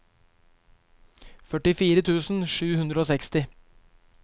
førtifire tusen sju hundre og seksti